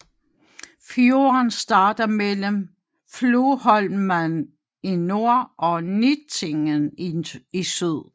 Fjorden starter mellem Floholman i nord og Nittingen i syd